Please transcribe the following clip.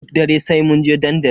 Duk dare sai munje dandali.